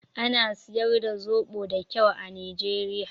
Ana siyar da zoɓo da kyau a Nijeriya